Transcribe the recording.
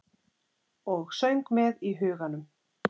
Og söng með í huganum.